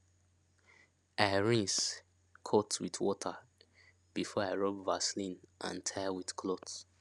i rinse cut with salt water before i rub vaseline and tie with cloth